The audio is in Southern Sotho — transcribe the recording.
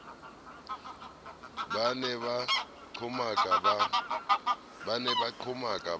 ba ne ba qhomaka ba